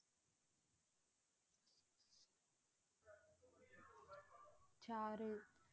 சாறு